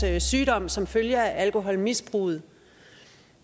sygdom som følge af alkoholmisbruget